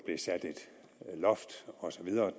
sat et loft osv og